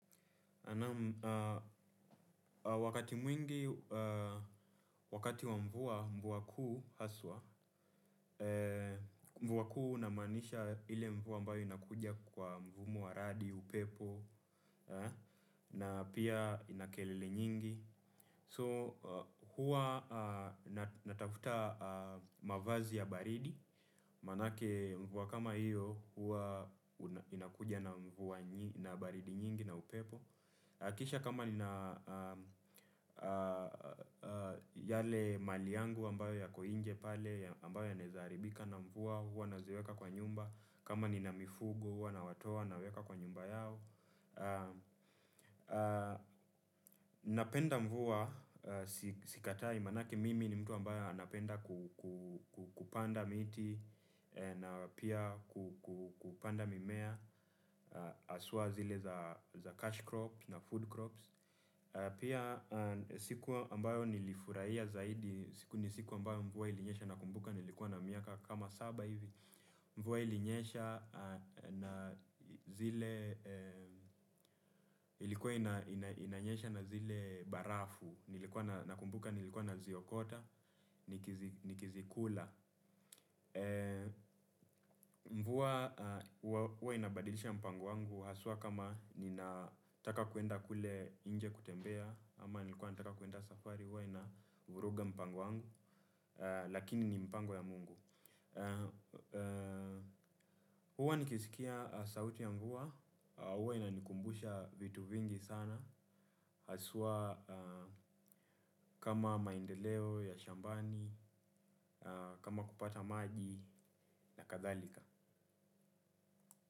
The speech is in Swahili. Naam wakati mwingi, wakati wa mvua mvua kuu haswa, mvua kuu na maanisha ile mvua mbayo inakuja kwa mvumo wa radi, upepo, na pia inakelele nyingi. So, huwa natafuta mavazi ya baridi, maanake mvua kama hiyo huwa inakuja na mvua na baridi nyingi na upepo. Hakikisha kama nina yale mali yangu ambayo yako inje pale ambayo yanaeza haribika na mvua huwa naziweka kwa nyumba kama nina mifugo huwa nawatoa naweka kwa nyumba yao napenda mvua sikatai maanake mimi ni mtu ambaye anapenda kupanda miti na pia kupanda mimea haswa zile za cash crops na food crops. Pia siku ambayo nilifurahia zaidi ni siku ambayo mvua ilinyesha nakumbuka nilikuwa na miaka kama saba hivi. Mvua ilinyesha na zile, ilikuwa inanyesha na zile barafu, nilikuwa nakumbuka nilikuwa naziokota nikizikula. Mvua huwa inabadilisha mpango wangu haswa kama ninataka kuenda kule nje kutembea ama nilikuwa nataka kuenda safari huwa inavuruga mpango wangu lakini ni mpango ya mungu huwa nikisikia sauti ya mvua huwa inanikumbusha vitu vingi sana haswaa kama maendeleo ya shambani, kama kupata maji na kadhalika.